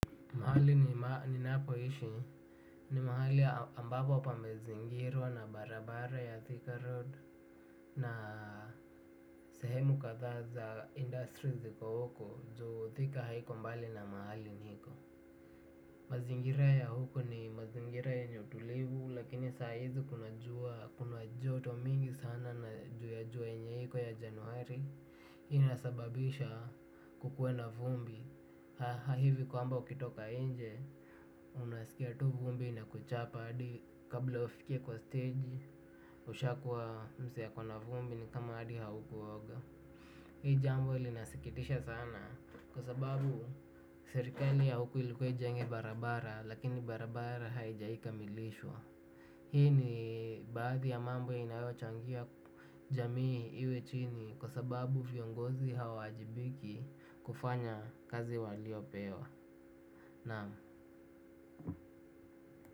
Mahali ninapoishi ni mahali ambapo pamezingirwa na barabara ya thika road na sehemu kadhaa za industry ziko huku juu thika haiko mbali na mahali niko. Mazingira ya huko ni mazingira ya yenye utulivu lakini saa hizi kuna jua kuna joto mingi sana na jua yenye iko ya januari inasababisha kukue na vumbi. Hivi kwamba ukitoka nje unasikia tu vumbi inakuchapa hadi kabla ufike kwa stage ushakuwa msee akona vumbi ni kama hadi haukuoga. Hii jambo ilinasikitisha sana. Kwa sababu serikali ya huku ilikuwa ijenge barabara. Lakini barabara haijaikamilishwa. Hii ni baadhi ya mambo inayochangia jamii iwe chini. Kwa sababu viongozi hawawajibiki kufanya kazi waliopewa. Naam.